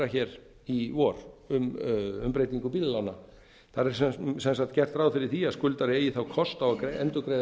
hér í vor um breytingu bílalána þar er sem sagt gert ráð fyrir því að skuldari eigi þá kost á að endurgreiða